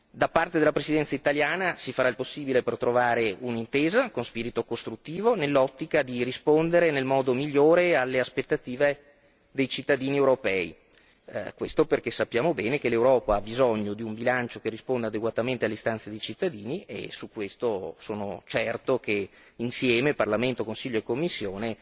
Da parte della Presidenza italiana si farà il possibile per trovare un'intesa, con spirito costruttivo, nell'ottica di rispondere nel modo migliore alle aspettative dei cittadini europei, questo perché sappiamo bene che l'Europa ha bisogno di un bilancio che risponda adeguatamente alle istanze dei cittadini e su questo sono certo che insieme, Parlamento, Consiglio e Commissione,